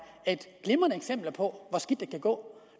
et glimrende eksempel på hvor skidt det kan gå